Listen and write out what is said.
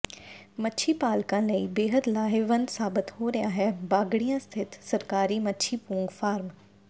ਮੱਛੀ ਪਾਲਕਾਂ ਲਈ ਬੇਹੱਦ ਲਾਹੇਵੰਦ ਸਾਬਤ ਹੋ ਰਿਹਾ ਹੈ ਬਾਗੜੀਆਂ ਸਥਿਤ ਸਰਕਾਰੀ ਮੱਛੀ ਪੂੰਗ ਫਾਰਮ